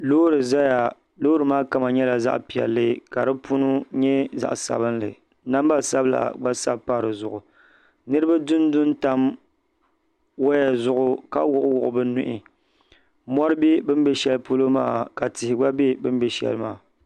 Loori zaya loori maa kama nyɛla zaɣa piɛlli ka di punu nyɛ zaɣa sabinli namba sabila gba sabi pa dizuɣu niriba dundu n tam waya zuɣu ka wuɣi bɛ nuhi mori be bini be sheli polo maa ka tihi gba be bini be sheli maa.